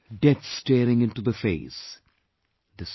Death staring into the face...